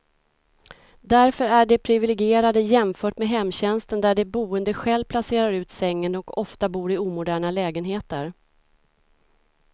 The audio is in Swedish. Därför är de priviligierade jämfört med hemtjänsten där de boende själv placerar ut sängen, och ofta bor i omoderna lägenheter.